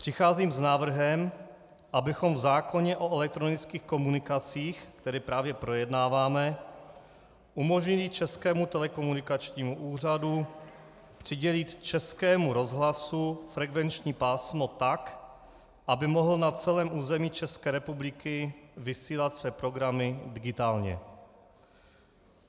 Přicházím s návrhem, abychom v zákoně o elektronických komunikacích, který právě projednáváme, umožnili Českému telekomunikačnímu úřadu přidělit Českému rozhlasu frekvenční pásmo tak, aby mohl na celém území České republiky vysílat své programy digitálně.